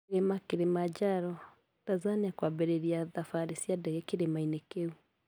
Kirima Kilimanjaro: Tanzania kwambĩrĩria thabari cia ndege kĩrĩma-inĩ kĩu